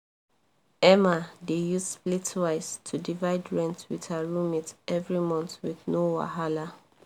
emma dey use splitwise to divide rent with her roommates every month with no wahala